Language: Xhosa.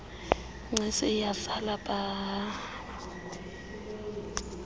gcis iyazala pahaha